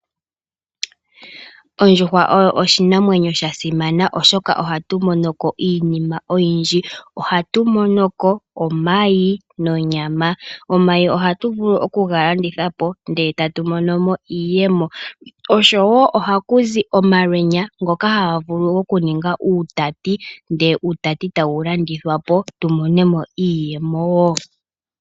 Ondjuhwa oyo oshinamwenyo sha simana oshoka ohatu monoko iinima oyindji. Ohatu mono ko omayi nonyama. Omayi ohatu vulu okuga landithapo ndele tatu mono mo iiyemo, oshowo ohaku zi omalwenyo ngoka haga vulu okuninga uutati ,ndele uutati tawu landithwa po tu mone mo iiyemo wo.